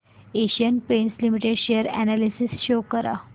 Asian Paints Limited share analysis show कर